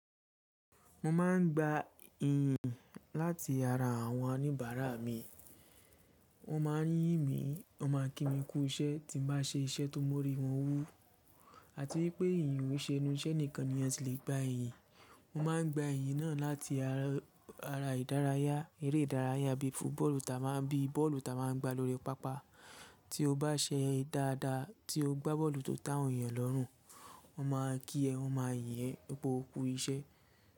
Mo máà ń gba iyìn láti ara àwọn oníbàárà mi. Wọ́n máà ń yìn mí, wọ́n máà ń kí mi kú iṣẹ́ tí mo bá ṣe iṣẹ́ tó móri wọn wú. Àti wípé ìyìn ò ṣe enú iṣẹ́ nìkan ni a ti lè gba iyìn. Mo máà ń gba iyìn náà láti ara ìdárayá, eré ìdárayá bíi football tí a máà ń, bíi bọ́ọ̀lù tí a máà ń gbà lóri pápá. Tí o bá ṣe dáadáa, tí o gbá bọ́ọ̀lù tó te awon eeyàn lọ́rùn, wọ́n máà kí ẹ, wọ́n máà yìn ẹ́. Pe koku iṣẹ́